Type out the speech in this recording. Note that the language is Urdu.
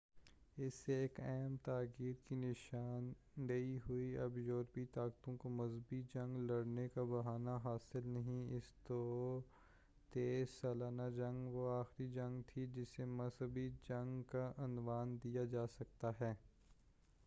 اس سے ایک اہم تغیُّر کی نشان دہی ہوئی اب یورپی طاقتوں کو مذہبی جنگ لڑنے کا بہانہ حاصل نہیں رہا اس طور تیس سالہ جنگ وہ آخری جنگ تھی جسے مذہبی جنگ کا عنوان دیا جا سکتا ہے